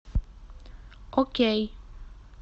окей